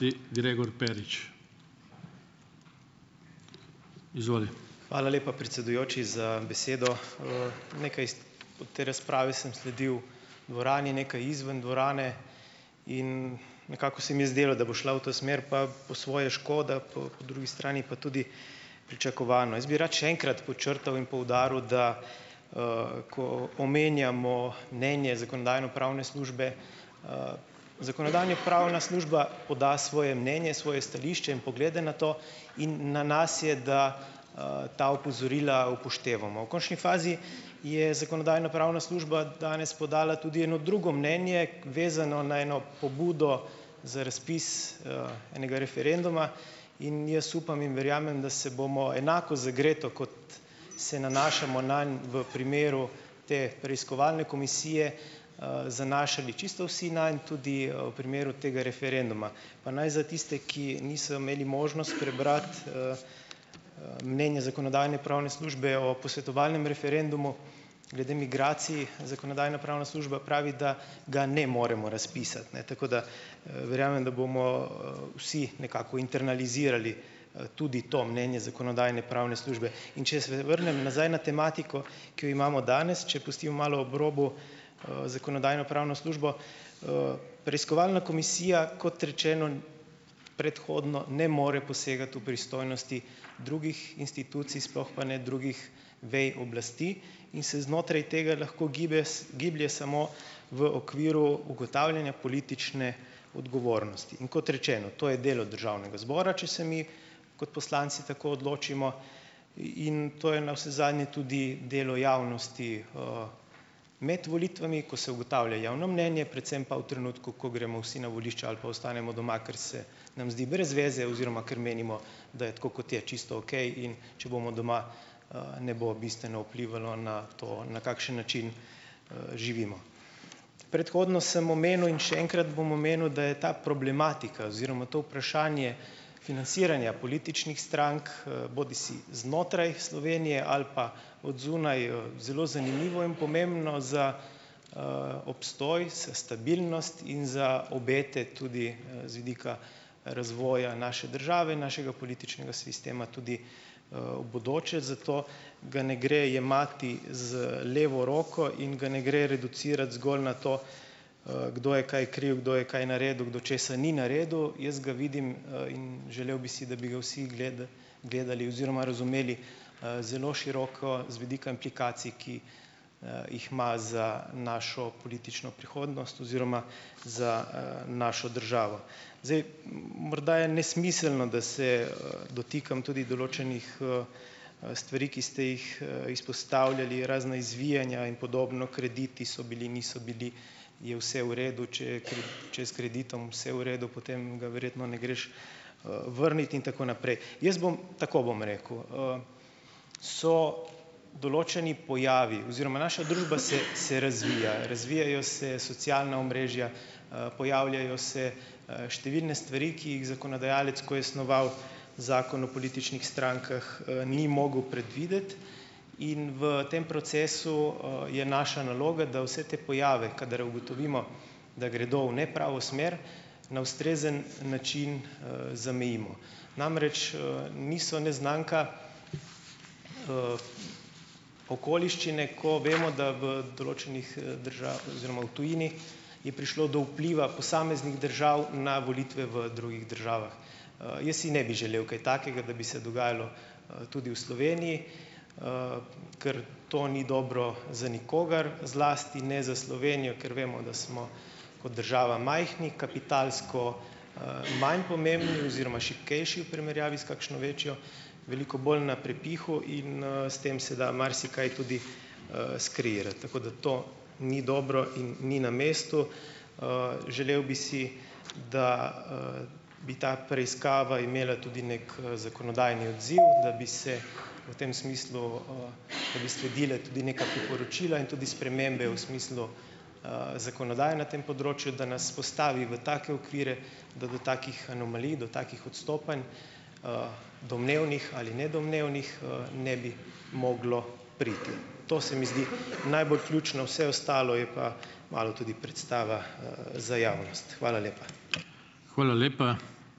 Hvala lepa, predsedujoči, za besedo. Nekaj te razprave sem sledil dvorani, nekaj izven dvorane, in nekako se mi je zdelo, da bo šla v to smer, pa po svoje škoda, po, po drugi strani pa tudi pričakovano. Jaz bi rad še enkrat podčrtal in poudaril, da, ko omenjamo mnenje zakonodajno-pravne službe, zakonodajno-pravna služba poda svoje mnenje, svoje stališče in poglede na to, in na nas je, da, ta opozorila upoštevamo. V končni fazi je zakonodajno-pravna služba danes podala tudi eno drugo mnenje, vezano na eno pobudo za razpis, enega referenduma in jaz upam in verjamem, da se bomo enako zagreto, kot se nanašamo nanj v primeru te preiskovalne komisije, zanašali čisto vsi nanj, tudi, v primeru tega referenduma. Pa naj za tiste, ki niso imeli možnost prebrati, mnenje zakonodajno-pravne službe o posvetovalnem referendumu glede migracij, zakonodajno-pravna služba pravi, da ga ne moremo razpisati, ne, tako da verjamem, da bomo, vsi nekako internalizirali, tudi to mnenje zakonodajno-pravne službe. In če se vrnem nazaj na tematiko, ki jo imamo danes, če pustim malo ob robu, zakonodajno-pravno službo, preiskovalna komisija, kot rečeno, predhodno ne more posegati v pristojnosti drugih institucij, sploh pa ne drugih vaj oblasti. In se znotraj tega lahko gibe giblje samo v okviru ugotavljanja politične odgovornosti. In kot rečeno, to je delo državnega zbora, če se mi, kot poslanci, tako odločimo, in to je navsezadnje tudi delo javnosti, med volitvami, ko se ugotavlja javno mnenje, predvsem pa v trenutku, ko gremo vsi na volišča ali pa ostanemo doma, kar se nam zdi brez veze oziroma ker menimo, da je tako, kot je, čisto okej, in če bomo doma, ne bo bistveno vplivalo na to, na kakšen način, živimo. Predhodno sem omenil in še enkrat bom omenil , da je ta problematika oziroma to vprašanje financiranja političnih strank, bodisi znotraj Slovenije ali pa od zunaj, zelo zanimiva in pomembna za, obstoj, stabilnost in za obete tudi, z vidika razvoja naše države, našega političnega sistema tudi, v bodoče. Zato ga ne gre jemati z levo roko in ga ne gre reducirati zgolj na to, kdo je kaj kriv, kdo je kaj naredil, kdo česa ni naredil. Jaz ga vidim, in želel bi si, da bi ga vsi gledali oziroma razumeli, zelo široko z vidika implikacij, ki, jih ima za našo politično prihodnost oziroma za, našo državo. Zdaj, morda je nesmiselno, da se, dotikam tudi določenih, stvari, ki ste jih, izpostavljali, razna izvijanja in podobno, krediti so bili, niso bili, je vse v redu, če je če je s kreditom vse v redu, potem ga verjetno ne greš, vrnit in tako naprej. Jaz bom tako bom rekel, Soo določeni pojavi. Oziroma naša družba se se razvija. Razvijajo se socialna omrežja, pojavljajo se, številne stvari, ki jih zakonodajalec, ko je snoval Zakon o političnih strankah, ni mogel predvideti. In v tem procesu, je naša naloga, da vse te pojave, kadar ugotovimo, da gredo v nepravo smer, na ustrezen način, zamejimo. Namreč, niso neznanka okoliščine, ko vemo, da v določenih, oziroma v tujini je prišlo do vpliva posameznih držav na volitve v drugih državah. Jaz si ne bi želel kaj takega, da bi se dogajalo, tudi v Sloveniji. Ker to ni dobro za nikogar. Zlasti ne za Slovenijo, kar vemo, da smo kot država majhni, kapitalsko, manj pomembni oziroma šibkejši v primerjavi s kakšno večjo, veliko bolj na prepihu in, s tem se da marsikaj tudi, skreirati. Tako da to ni dobro in ni na mestu. Želel bi si, da, bi ta preiskava imela tudi neki, zakonodajni odziv, da bi se v tem smislu, da bi sledila tudi neka priporočila in tudi spremembe v smislu, zakonodaje na tem področju. Da nas postavi v take okvire, da do takih anomalij, do takih odstopanj domnevnih ali nedomnevnih, ne bi moglo priti . To se mi zdi najbolj ključno, vse ostalo je pa malo tudi predstava, za javnost. Hvala lepa.